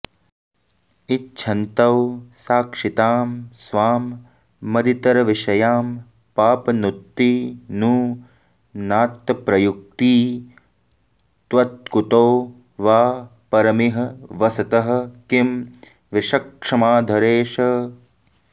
इच्छन्तौ साक्षितां स्वां मदितरविषयां पापनुत्ति नु नात्तप्रत्युक्ती त्वत्कुतो वा परमिह वसतः किं वृषक्ष्माधरेश